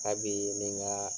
A bi ɲininkaaa.